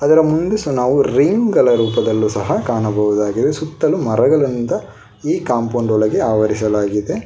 ಅದರ ಮುಂದೆ ಸಹ ನಾವು ರೈನ್ ಗಳ ರೂಪದಲ್ಲೂ ಸಹ ಕಾಣಬಹುದಾಗಿದೆ ಸುತ್ತಲು ಮರಗಳಿಂದ ಈ ಕಾಂಪೌಂಡ್ ಒಳಗೆ ಆವರಿಸಲಾಗಿದೆ.